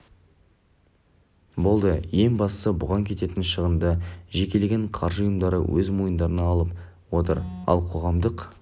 болды ең бастысы бұған кететін шығынды жекелген қаржы ұйымдары өз мойындарына алып отыр ал қоғамдық